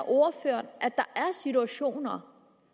ordføreren at der er situationer